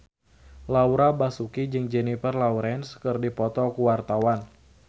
Laura Basuki jeung Jennifer Lawrence keur dipoto ku wartawan